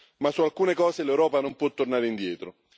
Ma su alcune cose l'Europa non può tornare indietro.